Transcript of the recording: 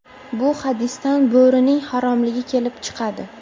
Bu hadisdan Bo‘rining haromligi kelib chiqadi.